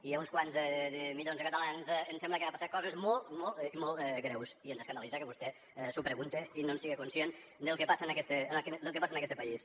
i a uns quants milions de catalans ens sembla que han passat coses molt molt i molt greus i ens escandalitza que vostè s’ho pregunte i no en siga conscient del que passa en este país